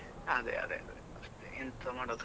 ಹಾ ಅದೆ ಅದೆ ಅದೇ ಎಂತ ಮಾಡೋದ್.